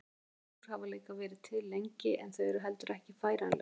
Sólúr hafa líka verið til lengi en þau eru heldur ekki færanleg.